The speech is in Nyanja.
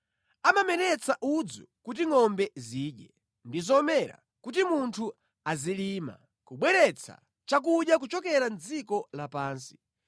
Amameretsa udzu kuti ngʼombe zidye, ndi zomera, kuti munthu azilima kubweretsa chakudya kuchokera mʼdziko lapansi: